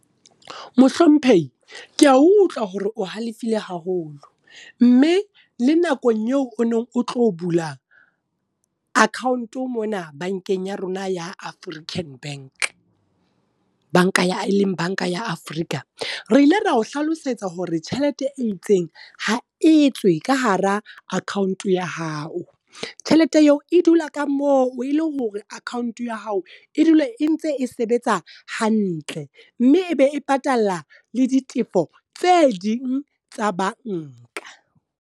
Mohlomphehi, ke a utlwa hore o halefile haholo. Mme le nakong eo o neng o tlo bula account mona, bankeng ya rona ya African Bank. Banka ya e leng banka ya Afrika, re ile ra o hlalosetsa hore tjhelete e itseng ha e tswe ka hara account ya hao. Tjhelete eo e dula ka mo ele hore account ya hao e dula e ntse e sebetsa hantle. Mme e be e patala le ditefo tse ding tsa banka.